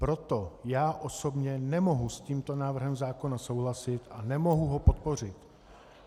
Proto já osobně nemohu s tímto návrhem zákona souhlasit a nemohu ho podpořit.